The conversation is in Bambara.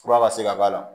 Fura ka se ka k'a la